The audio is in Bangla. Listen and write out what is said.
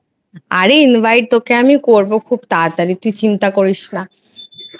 আরে Invite তোকে আমি করবো খুব তাড়াতাড়ি তুই চিন্তা করিস না।